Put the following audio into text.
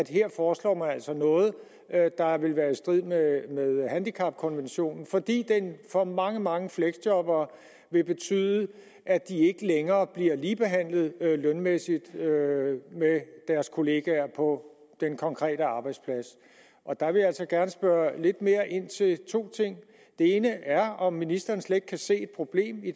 her foreslår noget der vil være i strid med handicapkonventionen fordi den for mange mange fleksjobbere vil betyde at de ikke længere bliver ligebehandlet lønmæssigt med deres kolleger på den konkrete arbejdsplads og der vil jeg altså gerne spørge lidt mere ind til to ting det ene er om ministeren slet ikke kan se et problem i